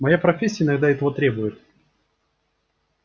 моя профессия иногда этого требует